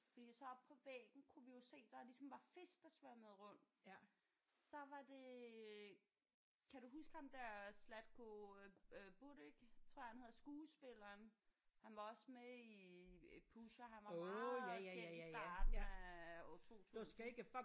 Fordi så oppe på væggen kunne vi jo se der ligesom var fisk der svømmede rundt så var det kan du huske ham der Zlatko øh øh Buric tror jeg han hed skuespilleren han var også med i i Pusher han var meget kendt i starten af år 2000